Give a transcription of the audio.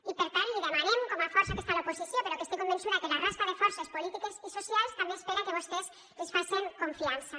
i per tant l’hi demanem com a força que està a l’oposició però que estic convençuda que la resta de forces polítiques i socials també espera que vostès els facen confiança